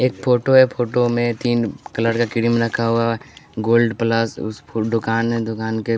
एक फोटो है फोटो में तीन कलर का क्रीम रखा हुआ है गोल्ड प्लस उस दुकान है दुकान के--